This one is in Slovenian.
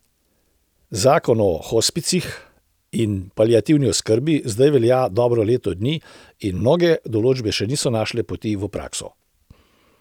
Zakon o hospicih in paliativni oskrbi zdaj velja dobro leto dni in mnoge določbe še niso našle poti v prakso.